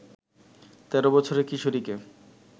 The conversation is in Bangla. ১৩ বছরের কিশোরীকে